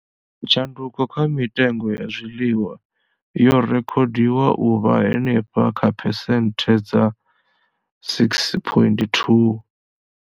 Tshanduko kha mitengo ya zwiḽiwa yo rekhodiwa u vha henefha kha phesenthe dza 6.2.